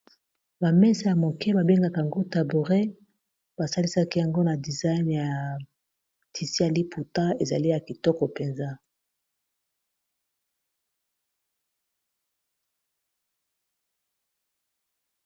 Ba mesa ya moke babengaka yango tabouret ba salisaki yango na design ya tisi ya liputa ezali ya kitoko mpenza.